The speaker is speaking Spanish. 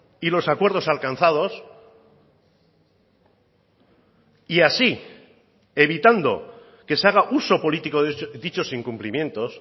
y los acuerdos alcanzados y así evitando que se haga uso político de dichos incumplimientos